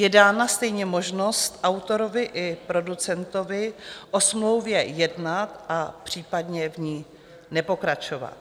Je dána stejně možnost autorovi i producentovi o smlouvě jednat a případně v ní nepokračovat.